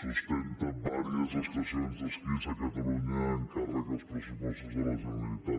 sustenta diverses estacions d’esquí a catalunya amb càrrec als pressu·postos de la generalitat